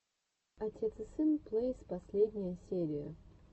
отец и сын плэйс последняя серия